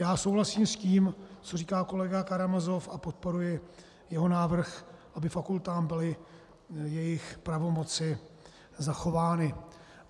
Já souhlasím s tím, co říká kolega Karamazov, a podporuji jeho návrh, aby fakultám byly jejich pravomoci zachovány.